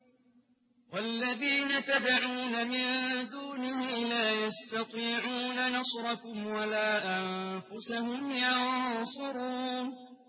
وَالَّذِينَ تَدْعُونَ مِن دُونِهِ لَا يَسْتَطِيعُونَ نَصْرَكُمْ وَلَا أَنفُسَهُمْ يَنصُرُونَ